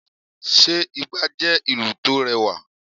sé igba jẹ ìlú to rẹwa?